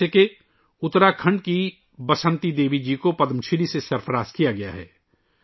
مثال کے طور پر اتراکھنڈ کی بسنتی دیوی کو پدم شری سے نوازا گیا ہے